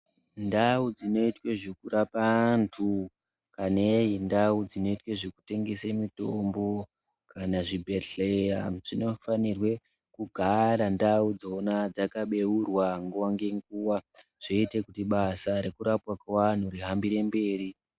Ndau dzinoitwe zvekurapa antu kaneyi ndau dzinoite zvekutengese mitombo kana zvibhedhlera dzinofanirwe kugara ndaudzo dzakabeurwa nguwa ngenguwa zvoite kuti basa rekurapwa kweantu rihambire mberi.